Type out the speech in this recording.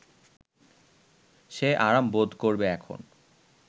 সে আরাম বোধ করবে এখন